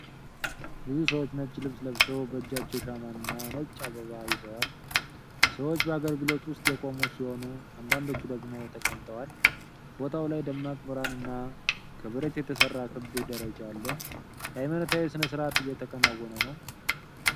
ብዙ ሰዎች ነጭ ልብስ ለብሰው በእጃቸው ሻማ እና ነጭ አበባ ይዘዋል። ሰዎች በአገልግሎት ውስጥ የቆሙ ሲሆኑ አንዳንዶቹ ደግሞ ተቀምጠዋል። በቦታው ላይ ደማቅ ብርሃን እና ከብረት የተሰራ ክብ ደረጃ አለ። ሃይማኖታዊ ሥነ ስርዓት እየተከናወነ ነው።